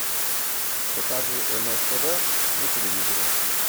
покажи нств на телевизоре